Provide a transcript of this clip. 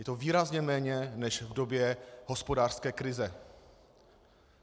Je to výrazně méně než v době hospodářské krize.